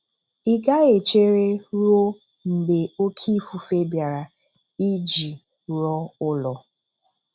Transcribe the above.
Ị gaghị echere ruo mgbe oke ifufe bịara iji rụọ ụlọ.